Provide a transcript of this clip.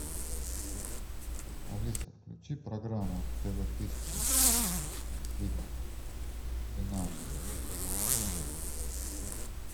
алиса включи программу тв тысяча фильм финал мстители